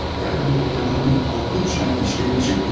Bir aydan bəri planladığım o qorxunc cinayəti işləyə biləcək miyim?